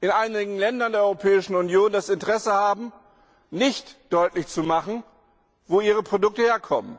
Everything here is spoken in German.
in einigen Ländern der Europäischen Union das Interesse haben, nicht deutlich zu machen, wo ihre Produkte herkommen,